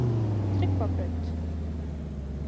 Tryggvabraut